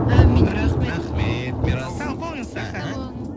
әмин рахмет рахмет мирас сау болыңыз іхі